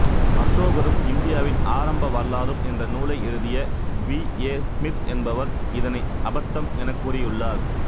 அசோகரும் இந்தியாவின் ஆரம்ப வரலாறும் என்ற நூலை எழுதிய வி ஏ சிமித் என்பவர் இதனை அபத்தம் எனக் கூறியுள்ளார்